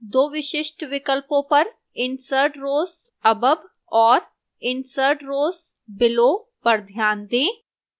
2 विशिष्ट विकल्पों पर insert rows above और insert rows below पर ध्यान दें